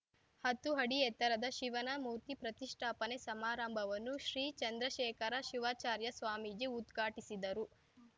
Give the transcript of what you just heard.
ಹತ್ತು ಅಡಿ ಎತ್ತರದ ಶಿವನ ಮೂರ್ತಿ ಪ್ರತಿಷ್ಠಾಪನೆ ಸಮಾರಂಭವನ್ನು ಶ್ರೀ ಚಂದ್ರಶೇಖರ ಶಿವಾಚಾರ್ಯ ಸ್ವಾಮೀಜಿ ಉದ್ಘಾಟಿಸಿದರು